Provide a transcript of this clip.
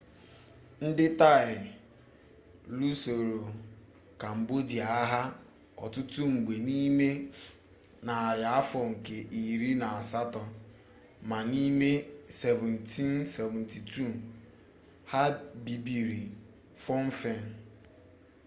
ndị taị lusoro kambodịa agha ọtụtụ mgbe n'ime narị afọ nke iri na asatọ ma n'ime 1772 ha bibiri phnom phen